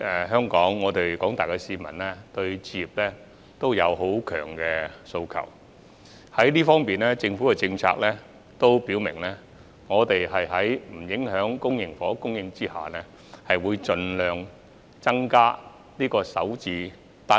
香港廣大市民確實對置業有強烈訴求，政府也表明會在不影響公營房屋供應的前提下，提供首置單位。